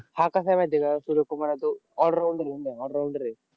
हा कसा आहे माहिती आहे का सूर्यकुमार यादव? all rounder आहे, all rounder आहे.